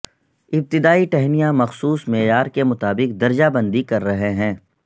ابتدائی ٹہنیاں مخصوص معیار کے مطابق درجہ بندی کر رہے ہیں